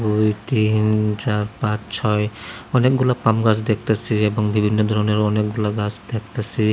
দুই তিন চার পাঁচ ছয় অনেকগুলা পাম গাছ দেখতাছি এবং বিভিন্ন ধরনের অনেকগুলা গাছ দেখতাছি।